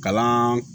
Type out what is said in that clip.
Kalan